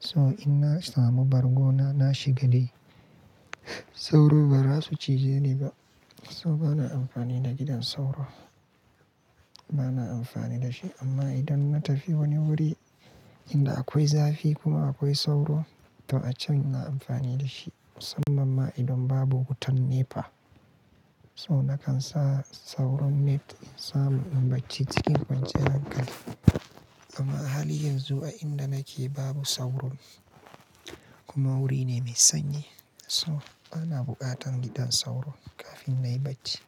To ina samu bargona na shiga dai. Sauro ba zasu cije ni ba. So bana amfani da gidan sauro. Bana amfani da shi amma idan na tafi wani wuri inda akwai zafi kuma akwai sauro to a can ina amfani da shi musamman ma idan babu wutan nepa. To nakan sa sauro net in samu in bacci cikin kwanciyar hankali. Amma halin yanzu a inda nake babu sauro kuma wuri ne mai sanyi. To bana buƙatar gidan sauro kafin na yi bacci.